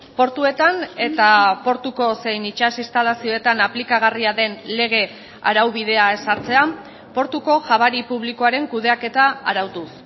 portuetan eta portuko zein itsas instalazioetan aplikagarria den lege araubidea ezartzea portuko jabari publikoaren kudeaketa arautuz